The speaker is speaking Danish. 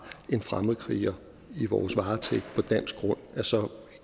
en fremmedkriger i vores varetægt på dansk grund